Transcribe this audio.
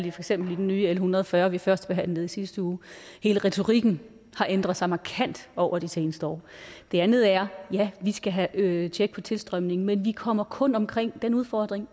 eksempel den nye l en hundrede og fyrre som vi førstebehandlede i sidste uge hele retorikken har ændret sig markant over det seneste år det andet er at ja vi skal have tjek på tilstrømningen men vi kommer kun omkring den udfordring